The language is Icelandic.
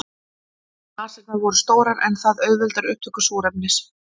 Nasirnar voru stórar en það auðveldar upptöku súrefnis.